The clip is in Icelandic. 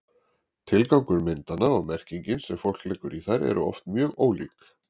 Tilgangur myndanna og merkingin sem fólk leggur í þær eru oft mjög ólík.